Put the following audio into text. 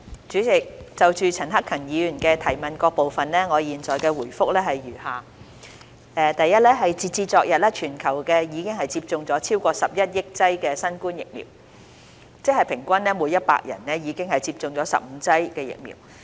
主席，就陳克勤議員質詢的各部分，我現答覆如下：一截止昨日，全球已接種超過11億劑新冠疫苗，即平均每100人已接種15劑的疫苗。